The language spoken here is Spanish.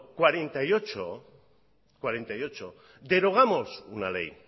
cuarenta y ocho derogamos una ley